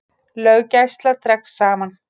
Löggæsla dregst saman